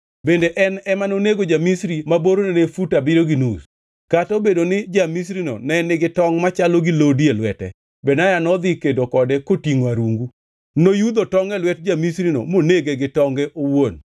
Bende en ema nonego ja-Misri ma borne ne fut abiriyo gi nus. Kata nobedo ni ja-Misrino ne nigi tongʼ machalo gi lodi e lwete, Benaya nodhi kedo kode kotingʼo arungu. Noyudho tongʼ e lwet ja-Misrino monege gi tonge owuon.